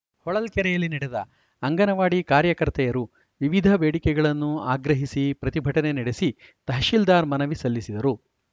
ಹೊಳಲ್ಕೆರೆಯಲ್ಲಿ ನಡೆದ ಅಂಗನವಾಡಿ ಕಾರ್ಯಕರ್ತೆಯರು ವಿವಿಧ ಬೇಡಿಕೆಗಳನ್ನು ಆಗ್ರಹಸಿ ಪ್ರತಿಭಟನೆ ನಡೆಸಿ ತಹಶೀಲ್ದಾರ್‌ ಮನವಿ ಸಲ್ಲಿಸಿದರು